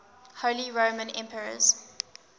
holy roman emperors